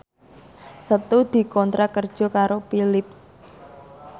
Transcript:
Setu dikontrak kerja karo Philips